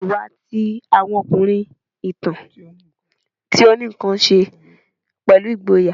Iwa ti awọn ọkunrin, itan ti o ni nkan ṣe pẹlu igboya